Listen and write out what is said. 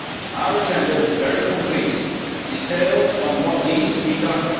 Our agenda is very concrete and detailed on what needs to be done.